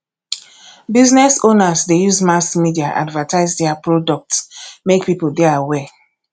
business owners de use mass media advertise their products make pipo de aware